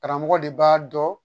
Karamɔgɔ de b'a dɔn